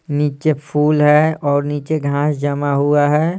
नीचे फूल है और नीचे घास जमा हुआ है।